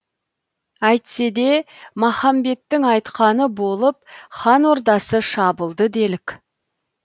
әйтсе де махамбеттің айтқаны болып хан ордасы шабылды делік